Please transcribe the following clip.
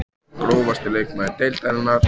Grófasti leikmaður deildarinnar?